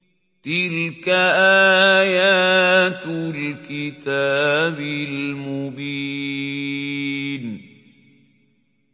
تِلْكَ آيَاتُ الْكِتَابِ الْمُبِينِ